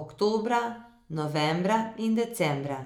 oktobra, novembra in decembra.